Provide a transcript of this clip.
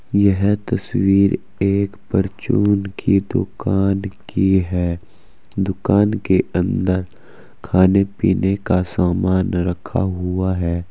यह तस्वीर एक परचून की दुकान की है। दुकान के अंदर खाने पीने का सामान रखा हुआ है।